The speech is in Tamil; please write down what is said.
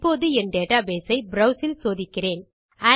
இப்போது என் டேட்டாபேஸ் ஐ ப்ரோவ்ஸ் இல் சோதிக்கிறேன்